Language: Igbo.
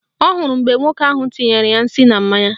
Ọ hụrụ mgbe nwoke ahụ tinyere ya nsị na mmanya